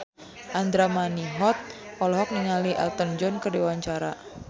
Andra Manihot olohok ningali Elton John keur diwawancara